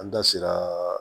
An da sera